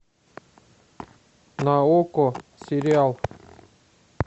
на окко сериал